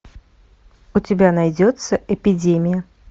у тебя найдется эпидемия